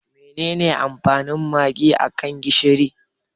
Menene amfanin Magi a kan gishiri?